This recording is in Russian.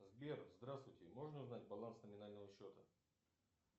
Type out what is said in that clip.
сбер здравствуйте можно узнать баланс номинального счета